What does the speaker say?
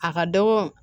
A ka dɔgɔ